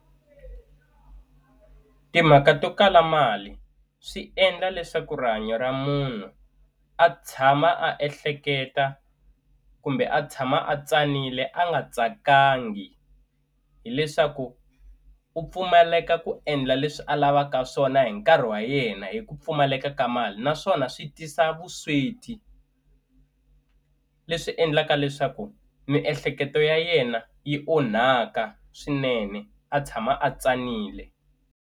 Timhaka to kala mali swi endla leswaku rihanyo ra munhu a tshama a ehleketa kumbe a tshama a tsanile a nga tsakangi hileswaku u pfumaleka ku endla leswi a lavaka swona hi nkarhi wa yena hi ku pfumaleka ka mali naswona swi tisa vusweti leswi endlaka leswaku miehleketo ya yena yi onhaka swinene a tshama a tsanile.